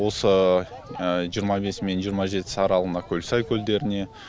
осы жиырма бесі мен жиырма жетісі аралығында көлсай көлдеріне